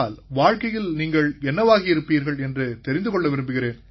வாழ்க்கையில் நீங்கள் என்னவாகி இருப்பீர்கள் என்று தெரிந்து கொள்ள விரும்புகிறேன்